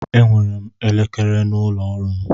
Enwere m elekere n'ụlọ ọrụ m.